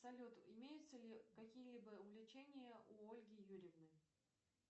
салют имеются ли какие либо увлечения у ольги юрьевны